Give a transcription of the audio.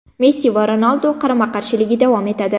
Messi va Ronaldu qarama-qarshiligi davom etadi.